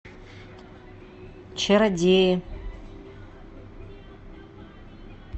чародеи